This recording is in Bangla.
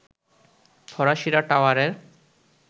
ফরাসিরা টাওয়ারের